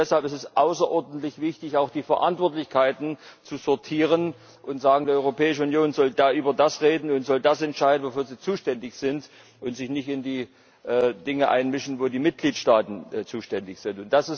Deshalb ist es außerordentlich wichtig, auch die Verantwortlichkeiten zu sortieren und der Europäischen Union zu raten, über das zu reden und zu entscheiden, wofür sie zuständig ist, und sich nicht in die Dinge einzumischen, für die die Mitgliedsstaaten zuständig sind.